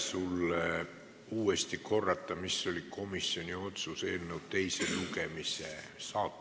Korda uuesti, mis oli komisjoni otsus eelnõu saatuse kohta.